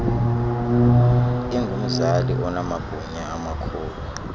ingumzali onamagunya amakhulu